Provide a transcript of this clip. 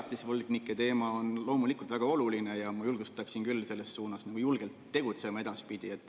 Elatisvõlgnike teema on loomulikult väga oluline ja ma julgustaksin küll edaspidi selles suunas julgelt tegutsema.